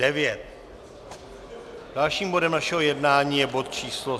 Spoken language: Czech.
Dalším bodem našeho jednání je bod číslo